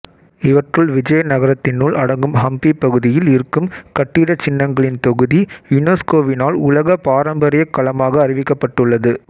இவற்றுள் விஜயநகரத்தினுள் அடங்கும் ஹம்பி பகுதியில் இருக்கும் கட்டிடச் சின்னங்களின் தொகுதி யுனெஸ்கோவினால் உலக பாரம்பரியக் களமாக அறிவிக்கப்பட்டு உள்ளது